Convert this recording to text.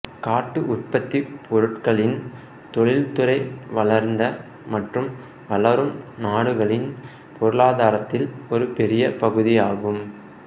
காட்டு உற்பத்தி பொருட்களின் தொழில்துறை வளர்ந்த மற்றும் வளரும் நாடுகளின் பொருளாதாரத்தில் ஒரு பெரிய பகுதியாகும்